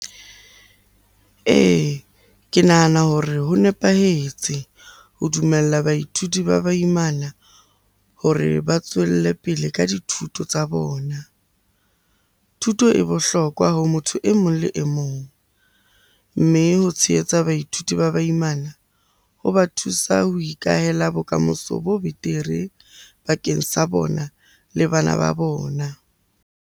Ee, ke nahana hore ho nepahetse ho dumella baithuti ba baimana hore ba tswelle pele ka dithuto tsa bona. Thuto e bohlokwa ho motho e mong le e mong. Mme ho tshehetsa baithuti ba baimana ho ba thusa ho ikahela bokamoso bo betere bakeng sa bona le bana ba bona.